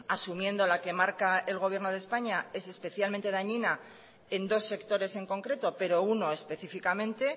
asumiendo la que marca el gobierno de españa es especialmente dañina en dos sectores en concreto pero uno específicamente